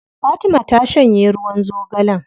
Fatima ta shanye ruwan zogalen.